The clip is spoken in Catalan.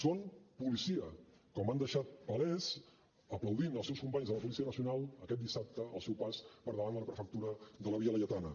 són policia com han deixat palès aplaudint els seus companys de la policia nacional aquest dissabte al seu pas per davant de la prefectura de la via laietana